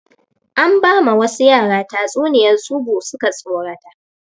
An ba ma wasu yara tatsuniyar tsubu suka tsorata